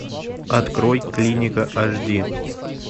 открой клиника аш ди